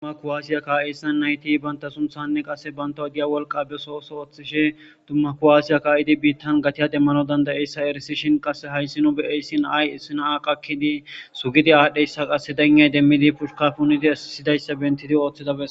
dumma kowaasiya kaa7eyssan nayti banta sumthanne qasse bantaw diya wolqa beso oso oththishe dumma kuwasiya ka'idi biittan gatiya demmanawu danda'iyayisa eresishin qasse hays nu be'iyaysi na'ay issi na'ay na'a qakkidi sugidi aadhiyaysa qasse dayinay demmidi pushka punidi esidaysa bentidi ooththida bes